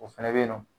O fɛnɛ bɛ yen nɔ